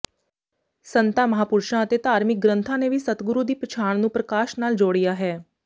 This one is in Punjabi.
ਸੰਤਾਂ ਮਹਾਂਪੁਰਸ਼ਾਂ ਅਤੇ ਧਾਰਮਿਕ ਗ੍ੰਥਾਂ ਨੇ ਵੀ ਸਤਿਗੁਰੂ ਦੀ ਪਛਾਣ ਨੂੰ ਪ੍ਰਕਾਸ਼ ਨਾਲ ਜੋੜਿਆ ਹੈ